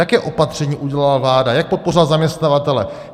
Jaké opatření udělala vláda, jak podpořila zaměstnavatele?